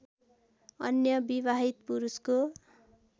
अन्य विवाहित पुरुषको